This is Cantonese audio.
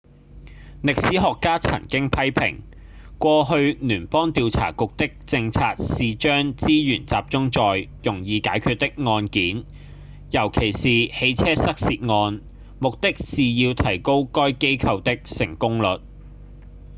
歷史學家曾經批評過去聯邦調查局的政策是將資源集中在容易解決的案件尤其是汽車失竊案目的是要提高該機構的成功率